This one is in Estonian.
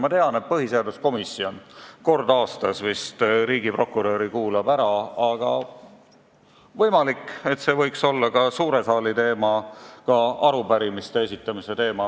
Ma tean, et põhiseaduskomisjon vist kord aastas kuulab riigiprokuröri ära, aga võimalik, et see võiks olla suure saali ja ka arupärimiste esitamise teema.